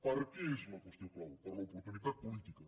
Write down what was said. per què és la qüestió clau per l’oportunitat política